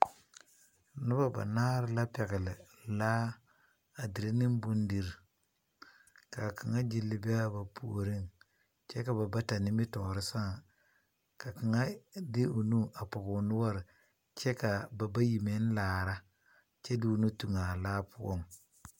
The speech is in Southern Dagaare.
Noba banaare la pɛgle laa a dire ne bondir. Ka kanga gyili be a ba pooreŋ kyɛ ka ba bata nimitoore saaŋ. Ka kanga de o nu a pɔge o noure. Kyɛ kaa ba bayi meŋ laara kyɛ de o nu toŋa a laa poʊ.